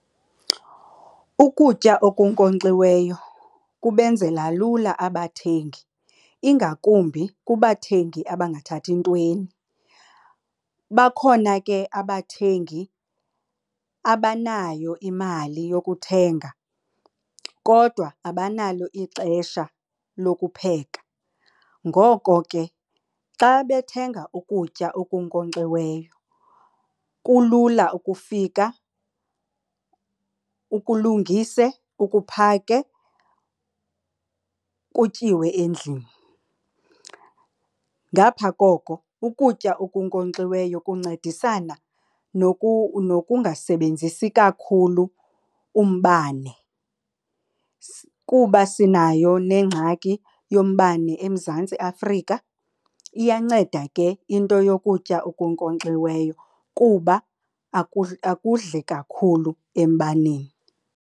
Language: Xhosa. Ukutya okunkonkxiweyo kubenzela lula abathengi, ingakumbi kubathengi abangathathi ntweni. Bakhona ke abathengi abanayo imali yokuthenga kodwa abanalo ixesha lokupheka. Ngoko ke xa bethenga ukutya okunkonkxiweyo kulula ukufika ukulungise ukuphake kutyiwe endlini. Ngapha koko ukutya okunkonkxiweyo kuncedisana nokungasebenzisi kakhulu umbane kuba sinayo nengxaki yombane eMzantsi Afrika. Iyanceda ke into yokutya okunkonkxiweyo kuba akudli kakhulu embaneni.